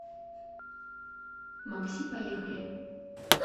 макси поехали